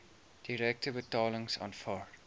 direkte betalings aanvaar